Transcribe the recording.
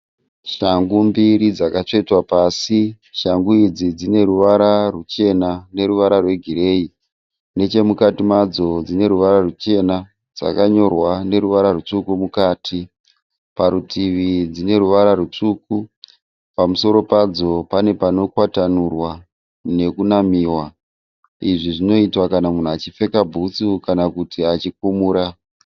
Shangu mbiri dzakatsvetwa pasi. Shangu idzi dzine ruvara rwuchena neruvara rwegireyi. Nechemukati madzo dzine ruvara rwuchena. Dzakanyorwa neruvara rutsvuku mukati. Parutivi dzine ruvara rutsvuku. Pamusoro padzo pane panokwatanurwa nekunamiwa. Izvi zvinoitwa kana munhu achipfeka bhutsu kana kuti achikumura.